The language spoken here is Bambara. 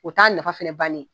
O t'a nafa fana bannen ye